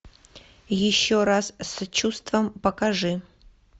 еще раз с чувством покажи